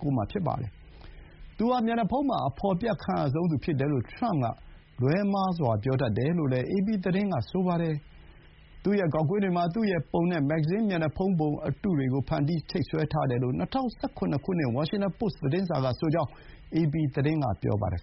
၉ မှာ ဖြစ်ပါတယ်။ သူဟာ မျက်နှာဖုံးမှာ အဖော်ပြခံရဆုံးသူ ဖြစ်တယ်လို့ ထရမ့်က လွှဲမှားစွာ ပြောတတ်တယ်လို့လည်း အေပီသတင်းက ဆိုပါတယ်။ သူ့ရဲ့ ဂေါက်ကွင်းတွေမှာ သူ့ရဲ့ပုံနဲ့ မဂ္ဂဇင်း မျက်နှာဖုံးပုံအတုတွေကို ဖန်တီး ချိတ်ဆွဲထားတယ်လို့ ၂၀၁၇ ခုနှစ် ဝါရှင်တန်ပို့စ် သတင်းစာကဆိုကြောင်း အေပီသတင်းက ပြောပါတယ်